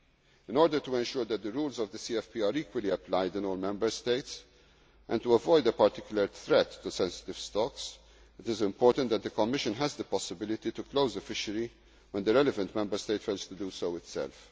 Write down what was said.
reason to believe'. In order to ensure that the rules of the CFP are equally applied in all Member States and to avoid a particular threat to sensitive stocks, it is important that the Commission has the possibility to close a fishery when the relevant Member State fails